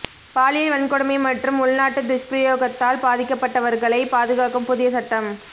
பாலியல் வன்கொடுமை மற்றும் உள்நாட்டு துஷ்பிரயோக்கத்தால் பாதிக்கப்பட்டவர்களை பாதுகாக்கும் புதிய சட்டம்